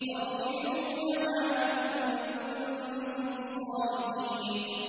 تَرْجِعُونَهَا إِن كُنتُمْ صَادِقِينَ